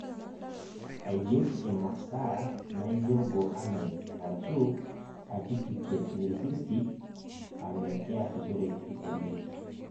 Aigerr imasaa naijo GoAnime arashu Articukate 360 ame= keasishooreki oleng'.